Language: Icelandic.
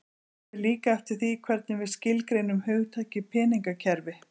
Það fer líka eftir því hvernig við skilgreinum hugtakið peningakerfi.